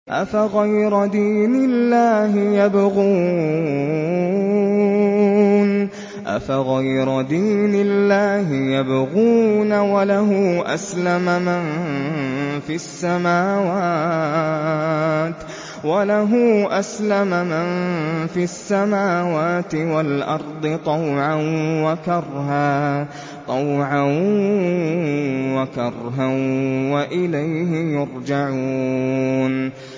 أَفَغَيْرَ دِينِ اللَّهِ يَبْغُونَ وَلَهُ أَسْلَمَ مَن فِي السَّمَاوَاتِ وَالْأَرْضِ طَوْعًا وَكَرْهًا وَإِلَيْهِ يُرْجَعُونَ